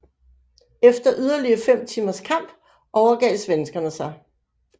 Efter yderligere fem timers kamp overgav svenskerne sig